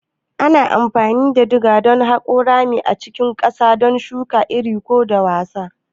Ana amfani da diga don haƙa ramuka a cikin ƙasa, don shuka iri ko dasawa.